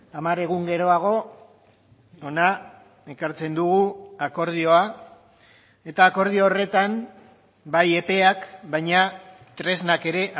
hamar egun geroago hona ekartzen dugu akordioa eta akordio horretan bai epeak baina tresnak ere